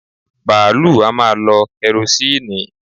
Bààlúù a máa lọ kẹrosíìnì